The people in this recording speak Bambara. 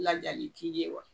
Ladiyali t'i ye.